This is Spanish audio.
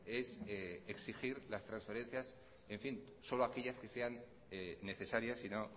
es exigir las transferencias solo aquellas que sean necesarias y no